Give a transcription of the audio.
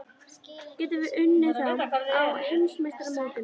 Getum við unnið þá á Heimsmeistaramótinu?